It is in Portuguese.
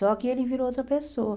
Só que ele virou outra pessoa.